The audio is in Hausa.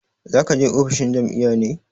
Za ka je ofishin jam'iyya ne?